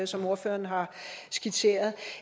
som ordføreren har skitseret